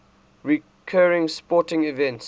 recurring sporting events